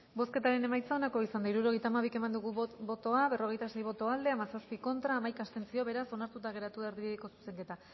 bozketaren emaitza onako izan da hirurogeita hamabi eman dugu bozka berrogeita sei boto aldekoa hamazazpi contra hamaika abstentzio beraz onartuta geratu erdibideko zuzenketa